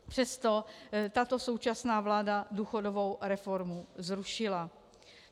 Přesto tato současná vláda důchodovou reformu zrušila.